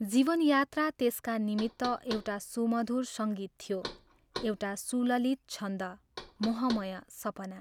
जीवन यात्रा त्यसका निमित्त एउटा सुमधुर सङ्गीत थियो एउटा सुललित छन्द, मोहमय सपना।